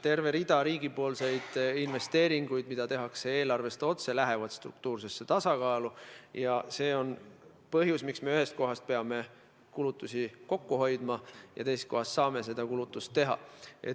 Terve rida riigipoolseid investeeringuid, mis tehakse eelarvest otse, lähevad struktuurse tasakaalu arvestusse, ja see on põhjus, miks me ühes kohas peame kulutusi kokku hoidma ja teises kohas saame kulutusi teha.